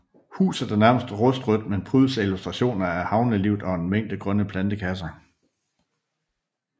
Huset er nærmest rustrødt men prydes af illustrationer af havnelivet og en mængde grønne plantekasser